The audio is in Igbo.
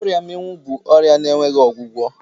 Ọria mmịnwụ bụ ọrịa na-enweghị ọgwụgwọ.